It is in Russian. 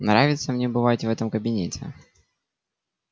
нравится мне бывать в этом кабинете